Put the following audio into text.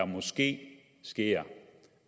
måske sker